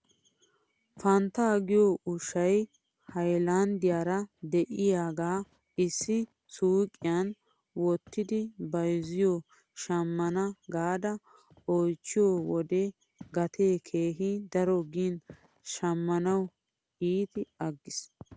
Fanttaa giyoo ushshay haylanddiyaara de'iyaagaa issi suyiqqiyan wottidi bayzziyoo shamana gaada oychchiyoo wode gatee keehi daro gin shamanawkka iiti aggis